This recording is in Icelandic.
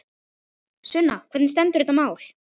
Sunna, hvernig stendur þetta mál?